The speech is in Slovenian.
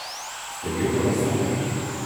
Ste jugonostalgik?